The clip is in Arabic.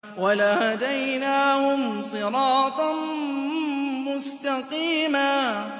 وَلَهَدَيْنَاهُمْ صِرَاطًا مُّسْتَقِيمًا